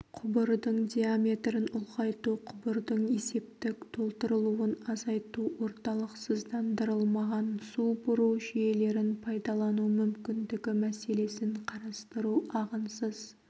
құбырдың диаметрін ұлғайту құбырдың есептік толтырылуын азайту орталықсыздандырылмаған су бұру жүйелерін пайдалану мүмкіндігі мәселесін қарастыру ағынсыз